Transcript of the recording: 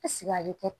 ale kɛ